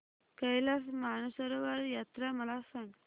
कैलास मानसरोवर यात्रा मला सांग